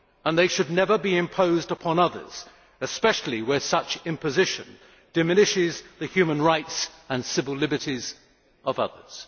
They should never be imposed upon others, especially where such imposition diminishes the human rights and civil liberties of others.